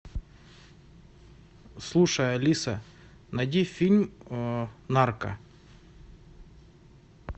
слушай алиса найди фильм нарко